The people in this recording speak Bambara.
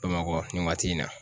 Bamakɔ nin waati in na.